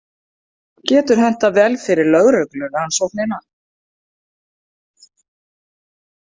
Getur hentað vel fyrir lögreglurannsóknina.